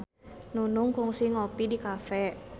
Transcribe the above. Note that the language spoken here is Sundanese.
Nunung kungsi ngopi di cafe